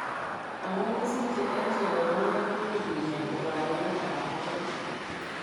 Amun kisiche eng' chelewanet koui kinyaa lubwaniat ab mooet